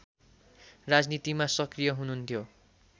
राजनीतिमा सक्रिय हुनुहुन्थ्यो